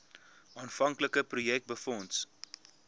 aanvanklike projek befonds